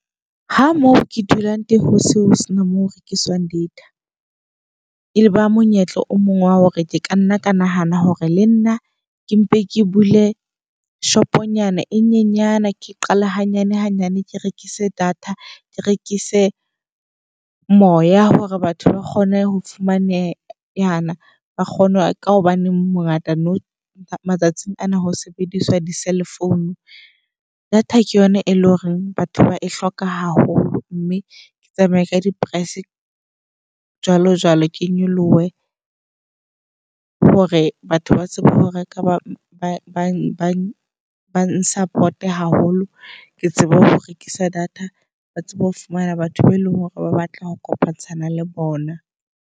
Ha moo ke dulang teng hose ho sena moo ho rekiswang data. E ba monyetla o mong wa hore ke ka nna ka nahana hore le nna ke mpe ke bule shop-o nyana e nyenyane. Ke qale hanyane hanyane, ke rekise data. Ke rekise moya hore batho ba kgone ho fumanehana ba kgone . Ka hobaneng mongata no matsatsing ana ho sebediswa di-cellphone. Data ke yona e leng hore batho ba e hloka haholo mme ke tsamaye ka di-price jwalo jwalo. Ke nyolohe hore batho ba tsebe ho reka ba bang support-e haholo. Ke tsebe ho rekisa data ba tsebe ho fumana batho be leng hore ba batla ho kopantsha na le bona.